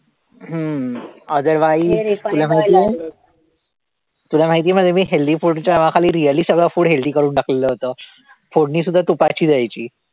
हम्म otherwise तुला माहितीये तुला माहितीये म्हणजे मी healthy food च्या नावाखाली really सगळं food healthy करून टाकलेलं होतं फोडणी सुद्धा तुपाची द्यायची.